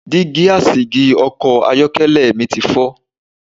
Dígí asìjì Ọkọ̀ ayọ́kẹ́lẹ̀ mi ti fọ.